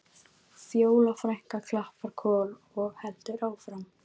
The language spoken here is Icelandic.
Fjóla frænka klappar Kol og heldur áfram